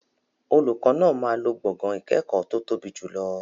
Olùkọ́ náà máa lo gbọ̀ngàn ìkẹ́kọ̀ọ́ tó tóbi jùlọ.